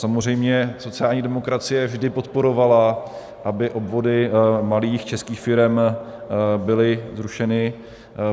Samozřejmě sociální demokracie vždy podporovala, aby odvody malých českých firem byly zrušeny.